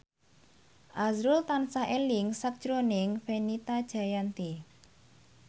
azrul tansah eling sakjroning Fenita Jayanti